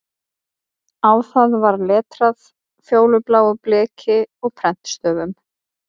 Á það var letrað fjólubláu bleki og prentstöfum